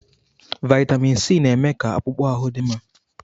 Vaịtamin Sii na-eme ka akpụkpọ ahụ dị mma.